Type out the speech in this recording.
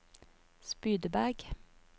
Spydeberg